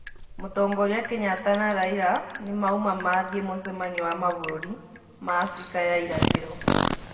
Mũtongoria Kenyatta na Raila nĩmaũma mathiĩ mũcemanio wa mabũrũri ma Afrika ya ĩrathĩro